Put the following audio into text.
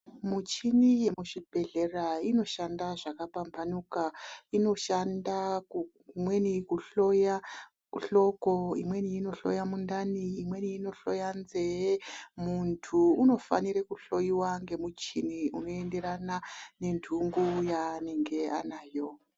Michini yemuzvibhedhlera inoshanda zvakapamphanuka. Inoshanda kumweni kuhloya, kuhloya hloko, imweni inohloya mundani, imweni inohloya nzeye. Muntu unofanire kuhloiwa ngemuchini unoenderana ,nentungu yaanenge anayo.